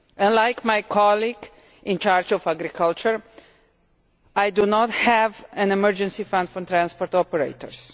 Unlike my colleague in charge of agriculture, I do not have an emergency fund for transport operators.